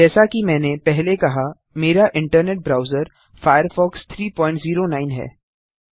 जैसा कि मैंने पहले कहा मेरा इंटरनेट ब्राउजर फायरफॉक्स 309 है